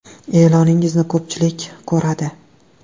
E’loningizni ko‘pchilik ko‘radi.